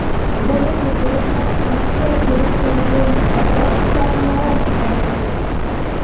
bo‘lim mudiri ham maktab direktoriga nisbatan kam maosh oladi.